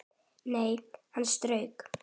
Nei, hann strauk